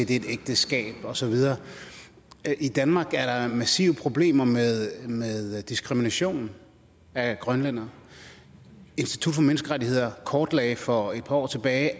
det er et ægteskab og så videre i danmark er der massive problemer med diskrimination af grønlændere institut for menneskerettigheder kortlagde for et par år tilbage